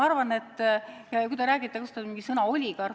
Te kasutasite sõna "oligarh".